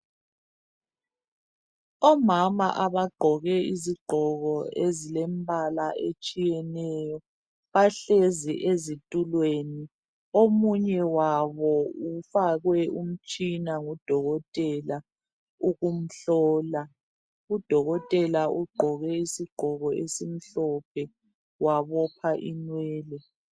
Omama abagqoke izigqoko ezilembala etshiyeneyo bahlezi ezitulweni omunye wabo ufakwe umtshina ngudokotela ukumhlola. Udokotela ugqoke isigqoko esimhlophe wabopha inwele.